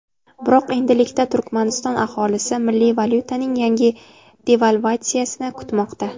Biroq endilikda Turkmaniston aholisi milliy valyutaning yangi devalvatsiyasini kutmoqda.